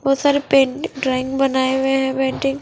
बहोत सारे pen drawing बनाये हुए है पैन्टिन्ग --